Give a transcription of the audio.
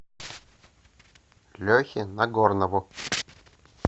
лехе нагорнову